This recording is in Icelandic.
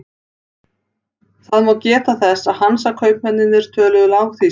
Það má geta þess að Hansakaupmennirnir töluðu lágþýsku.